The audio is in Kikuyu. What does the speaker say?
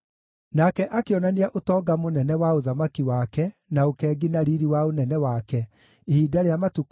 Nake akĩonania ũtonga mũnene wa ũthamaki wake na ũkengi na riiri wa ũnene wake, ihinda rĩa matukũ 180.